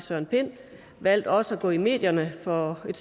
søren pind valgte også at gå i medierne for et